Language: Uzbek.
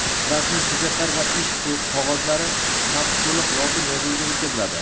rasmiy hujjatlar va ish qog‘ozlari ham to‘liq lotin yozuviga o‘tkaziladi.